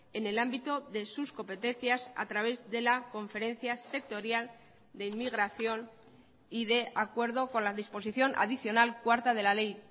en el ámbito de sus competencias a través de la conferencia sectorial de inmigración y de acuerdo con la disposición adicional cuarta de la ley